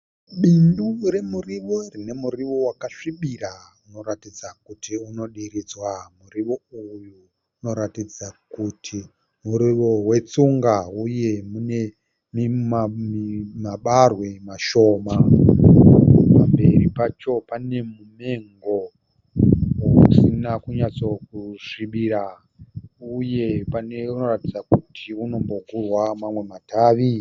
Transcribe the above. Bindu remurivo rinemuriwo wakasvibira unoratidza kuti unodiridzwa. Muriwo uyu unoratidza kuti murivo wetsunga huye mune mabarwe mashoma. Pamberi pacho panemumengo usina kunyatsokusvibira, uye panoratidza kuti unombogurwa mamwe matavi.